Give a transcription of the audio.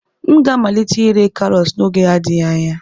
M ga-amalite ire karọt n'oge adịghị anya.